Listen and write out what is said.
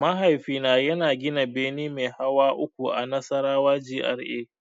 Mahaifina yana gina bene mai hawa uku a Nasarawa GRA.